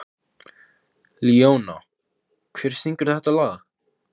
Hér er mikið feðraveldi, ef svo mætti kalla.